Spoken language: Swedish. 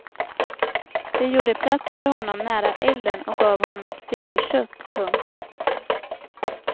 De gjorde plats för honom nära elden och gav honom ett stycke kött. punkt